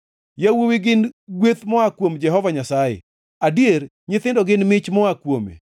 Yawuowi gin gweth moa kuom Jehova Nyasaye, adier, nyithindo gin mich moa kuome.